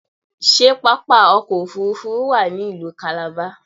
Ṣé pápá ọkọ̀ òfuurufú wà ní ìlú Calabar?